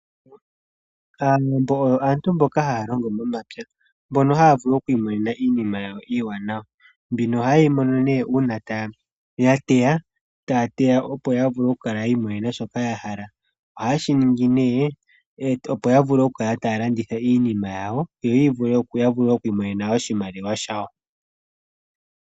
Aantu mboka haya longo momapya, mbono haya vulu oku imonena iinima yawo iiwanawa. Mbino ohaye yi mono nee uuna ya teya. Taya teya opo ya vule oku kala ya imonena shoka ya hala. Ohaye shi ningi nee opo ya vule okukala taya landitha iinima yawo. Yo ya vule oku imonena oshimaliwa shawo.